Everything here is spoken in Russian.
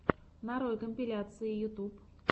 нарой компиляции ютюб